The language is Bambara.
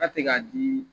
A tɛ ka di